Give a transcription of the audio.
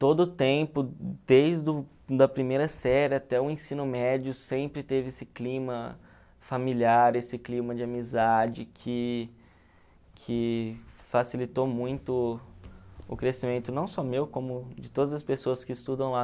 Todo o tempo, desde o da primeira série até o ensino médio, sempre teve esse clima familiar, esse clima de amizade que que facilitou muito o crescimento, não só meu, como de todas as pessoas que estudam lá.